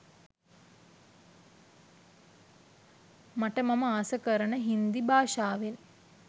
මට මම ආස කරන හින්දි භාෂාවෙන්